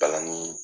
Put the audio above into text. Palanni